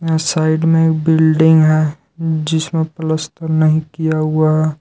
यहाँ साइड में बिल्डिंग है जिसमें प्लस्तर नहीं किया हुआ--